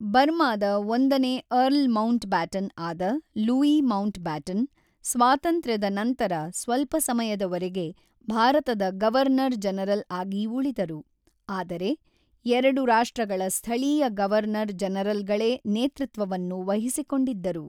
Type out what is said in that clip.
ಬರ್ಮಾದ ಒಂದನೇ earl Mountbatten ಆದ ಲೂಯೀ ಮೌಂಟ್‌ಬ್ಯಾಟನ್, ಸ್ವಾತಂತ್ರ್ಯದ ನಂತರ ಸ್ವಲ್ಪ ಸಮಯದವರೆಗೆ ಭಾರತದ ಗವರ್ನರ್-ಜನರಲ್ ಆಗಿ ಉಳಿದರು, ಆದರೆ ಎರಡು ರಾಷ್ಟ್ರಗಳ ಸ್ಥಳೀಯ ಗವರ್ನರ್-ಜನರಲ್‌ಗಳೇ ನೇತೃತ್ವವನ್ನು ವಹಿಸಿಕೊಂಡಿದ್ದರು.